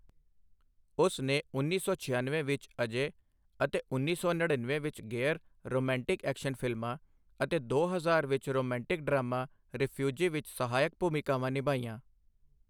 ਉਸ ਨੇ ਉੱਨੀ ਸੌ ਛਿਆਨਵੇਂ ਵਿੱਚ ਅਜੇ ਅਤੇ ਉੱਨੀ ਸੌ ਨੜੀਨਵੇਂ ਵਿੱਚ ਗੇਅਰ ਰੋਮਾਂਟਿਕ ਐਕਸ਼ਨ ਫਿਲਮਾਂ ਅਤੇ ਦੋ ਹਜ਼ਾਰ ਵਿੱਚ ਰੋਮਾਂਟਿਕ ਡਰਾਮਾ ਰਿਫਿਊਜੀ ਵਿੱਚ ਸਹਾਇਕ ਭੂਮਿਕਾਵਾਂ ਨਿਭਾਈਆਂ।